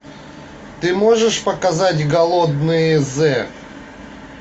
ты можешь показать голодные з